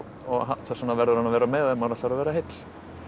þess vegna verður hann að vera með ef maður ætlar að vera heill